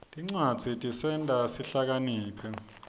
tincwadzi tisenta sihlakaniphe